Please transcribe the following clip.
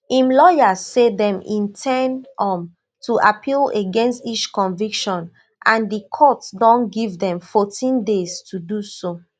im lawyers say dem in ten d um to appeal against each conviction and di court don give dem fourteen days to do so